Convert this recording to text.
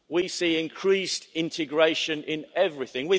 We see increased integration in everything.